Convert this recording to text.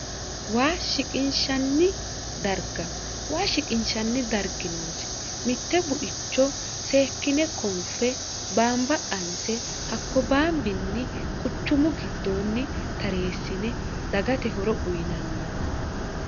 waa shiqinshanni darga waa shiqinshanni dargi noosi mitte buicho seekkine konfe baamba qanse hakko baambinni quchumu giddoonni tareessine dagate horo uyinanni